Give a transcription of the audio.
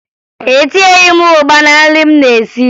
Etinyeghi m ụgba na nri m na-esi